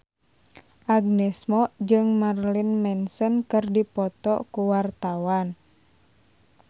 Agnes Mo jeung Marilyn Manson keur dipoto ku wartawan